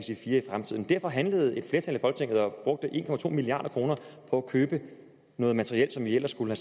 fremtiden derfor handlede og brugte en milliard kroner på at købe noget materiel som vi ellers skulle